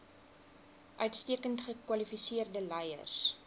uitstekend gekwalifiseerde leiers